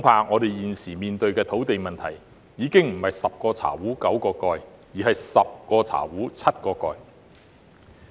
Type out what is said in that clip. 我們現時面對的土地問題恐怕已經不是"十個茶壺九個蓋"，而是"十個茶壺七個蓋"。